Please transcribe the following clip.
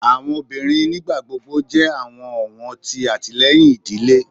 Awọn obinrin nigbagbogbo jẹ awọn ọwọn ti atilẹyin idile